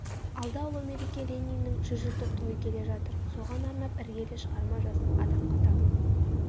алда ұлы мереке лениннң жүз жылдық тойы келе жатыр соған арнап іргелі шығарма жаз адамға табын